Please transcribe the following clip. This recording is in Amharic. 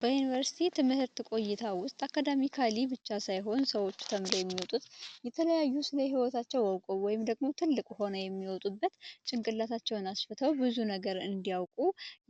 በዩኒቨርስቲ ትምህርት ቆይታ ውስጥ አካዳሚካል ብቻ ሳይሆን ሰዎች ተምረው የሚወጡት የተለያዩ ስለ ህይወት አውቀው ወይም ደግሞ ትልቅ ሁነው የሚወጡበት ጭንቅላታቸውን አስፍተው ብዙ ነገር እንዲያውቁ